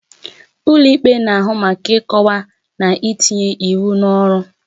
Ụlọ ikpe na-ahụ maka ịkọwa na itinye iwu n'ọrụ.